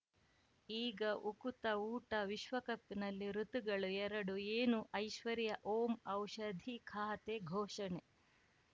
ಈಗ ಉಕುತ ಊಟ ವಿಶ್ವಕಪ್‌ನಲ್ಲಿ ಋತುಗಳು ಎರಡು ಏನು ಐಶ್ವರ್ಯಾ ಓಂ ಔಷಧಿ ಖಾತೆ ಘೋಷಣೆ